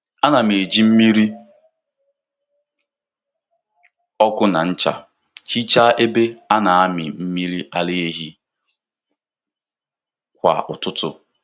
Ana m eji mmiri ọkụ na ncha hichaa ebe a na-amị mmiri ara ehi kwa ụtụtụ.